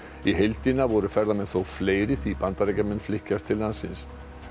í heildina voru ferðamenn þó fleiri því Bandaríkjamenn flykkjast til landsins